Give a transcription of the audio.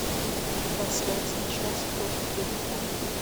трансляция челси против ливерпуля